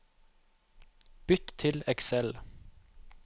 Bytt til Excel